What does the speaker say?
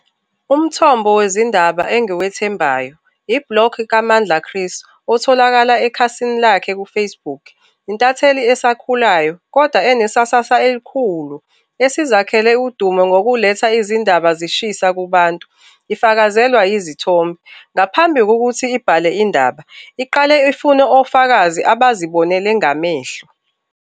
Umthombo wezindaba engiwethembayo, i-Block kaMandla Chris otholakala ekhasini lakhe ku-Facebook. Intatheli asakhulayo kodwa enesasasa elikhulu esizakhele udumo ngokuletha izindaba zishisa kubantu, ifakazelwa izithombe. Ngaphambi kokuthi ibhale indaba, iqale ifune ofakazi abazibonele ngamehlo.